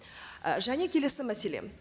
і және келесі мәселе